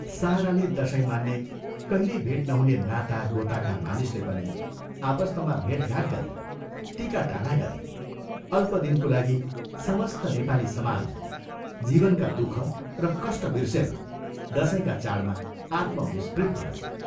साराले दशैं माने कहिल्यै भेट नहुने नाता गोताका मानिसले पनि आपस्तमा भेटघाट गरे, टीकाटाला गरे अल्प दिनको लागि समस्त नेपाली समाज जीवनका दुःख र कष्ट बिर्सेर दशैँका चाडमा आत्मविस्मृत भयो।